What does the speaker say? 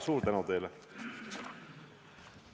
Suur tänu teile!